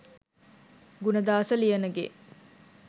Gunadasa Liyanage